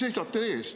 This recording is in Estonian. See seisab teil ees.